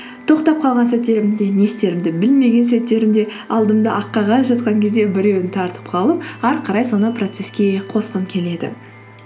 тоқтап қалған сәттерімде не істерімді білмеген сәттерімде алдымда ақ қағаз жатқан кезде біреуін тартып қалып әрі қарай соны процесске қосқым келеді